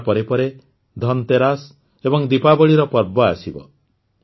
ଦଶହରା ପରେ ପରେ ଧନ୍ତେରସ୍ ଏବଂ ଦୀପାବଳୀର ପର୍ବ ଆସିବ